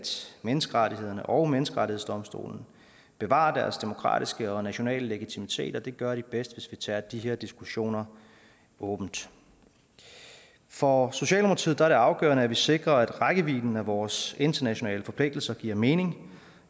menneskerettighederne og menneskerettighedsdomstolen bevarer deres demokratiske og nationale legitimitet og det gør de bedst hvis vi tager de her diskussioner åbent for socialdemokratiet er det afgørende at vi sikrer at rækkevidden af vores internationale forpligtelser giver mening